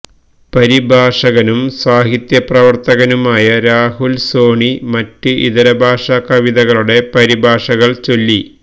പരിഭാഷകനും സാഹിത്യപ്രവർത്തകനുമായ രാഹുൽ സോണി മറ്റ് ഇതരഭാഷാ കവിതകളുടെ പരിഭാഷകൾ ചൊല്ലി